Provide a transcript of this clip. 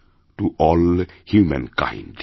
to all humankind